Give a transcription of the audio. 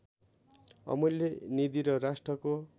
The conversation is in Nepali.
अमूल्य निधि र राष्ट्रको